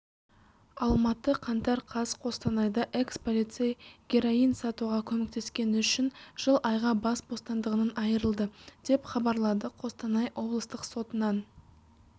алматы қаңтар қаз қостанайда экс-полицей героин сатуға көмектескені үшін жыл айға бас бостандығынан айрылды деп хабарлады қостанай облыстық сотынан